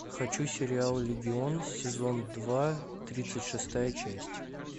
хочу сериал легион сезон два тридцать шестая часть